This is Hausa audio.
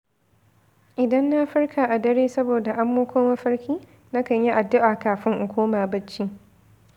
Idan na farka a dare saboda amo ko mafarki, na kan yi addu’a kafin in koma bacci.